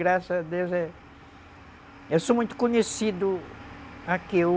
Graças a Deus, eu sou muito conhecido aqui.